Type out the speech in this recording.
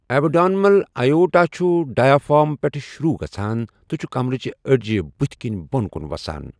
Abdominal اَیوٹا چھُ diaphragm پؠٹھ شۆروٗع گَژھان تہٕ چھُ کَمرٕچ أڈجہٕ بٔتھ کِن بون کُن وَسان۔